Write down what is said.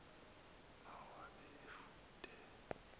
nawo abe efude